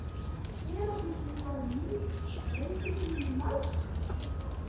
Þar fer leiðnin fram með jónum í vökvanum sem fyllir holrými bergsins.